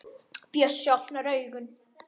Bjössi opnar augun.